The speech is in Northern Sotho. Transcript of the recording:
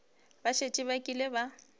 ba šetše ba kile ba